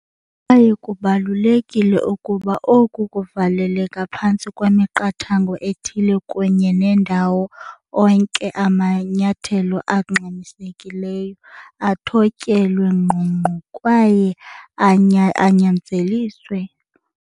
Kwaye kubalulekile ukuba oku kuvaleleka phantsi kwemiqathango ethile kunye nendawo onke amanyathelo angxamisekileyo athotyelwe ngqongqo kwaye anyanzeliswe.